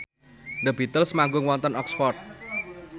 The Beatles manggung wonten Oxford